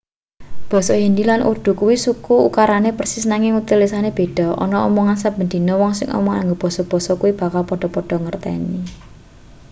basa hindi lan urdu kuwi suku ukarane persis nanging tulisane beda ana omongan saben dina wong sing omongan nganggo basa-basa kuwi bakal padha-padha mangerteni